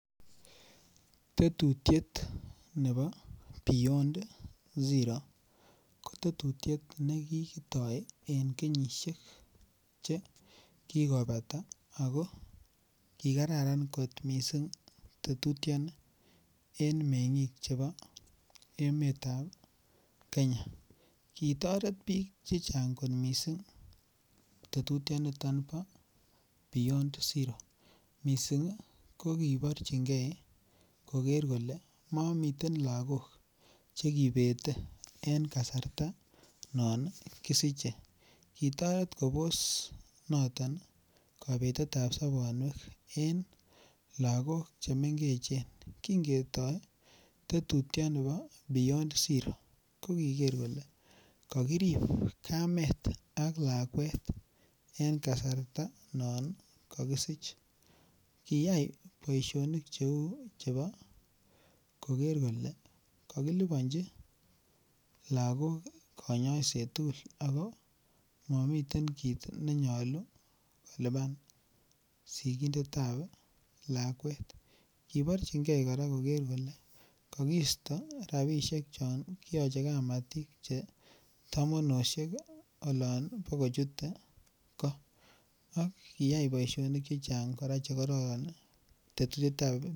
Tetutiet nebo beyond zero ko Tetutiet nekikitoi en kenyisiek Che kikobata ago ki kararan kot mising tetutioni en mengik chebo emet nebo Kenya kitoret bik Che Chang kot mising tetutioni bo beyond zero mising ko koborchige koger kole mamiten lagok Che kibete en kasarta non kisiche kitoret kobos noton kobetet ab sobonwek en lagok Che mengechen kin ketoi tetutioni bo beyond zero ko kiger kole ka kirib kamet ak lakwet en kasarta non ko kosich kiyai boisionik Cheu chebo koker kole kakilibanji lagok kanyaiset tugul ago momiten kit ne nyolu kolipan sikindet ab lakwet koborchinge kora koker kole kakisto rabisiek chon kiyoche kamatik Che tamonosiek olon bo kochute goo kiyai boisionik Che Chang kora Tetutiet ab beyond zero